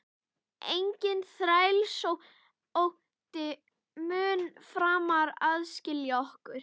Enginn þrælsótti mun framar aðskilja okkur.